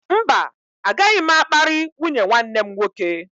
Mba, agaghị m akparị nwunye nwanne m nwoke.